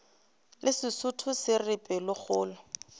le sesotho se re pelokgolo